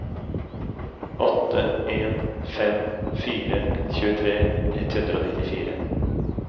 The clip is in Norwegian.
åtte en fem fire tjuetre ett hundre og nittifire